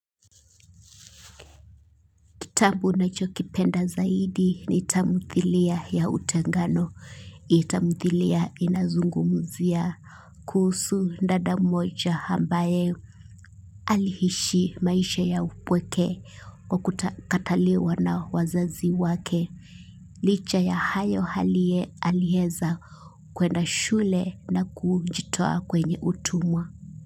Kitabu ninachokipenda zaidi ni tamuthilia ya utengano. Hii tamuthilia inazungumuzia. Kuhusu dada mmoja ambaye aliishi maisha ya upweke kwa kukataliwa na wazazi wake. Licha ya hayo alieza kwenda shule na kujitoa kwenye utumwa.